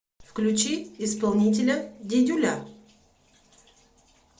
включи исполнителя дидюля